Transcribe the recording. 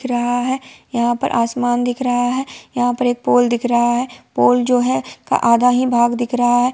यहाँ पर आसमान दिख रहा है| यहा पर एक पोल दिख रहा है| पोल जो है का आधा ही भाग दिख रहा है।